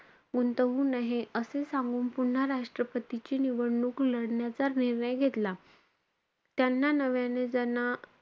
गुंतवू नहे, असे सांगून पुन्हा राष्ट्रपतींची निवडणूक लढण्याचा निर्णय घेतला. त्यांना नव्याने ज्यांना,